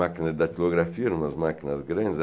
Máquina de datilografia, umas máquinas grandes.